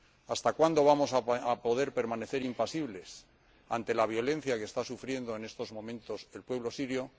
¿Hasta cuándo vamos a poder permanecer impasibles ante la violencia que está sufriendo en estos momentos el pueblo sirio?